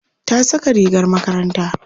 ta Saka rigar makaranta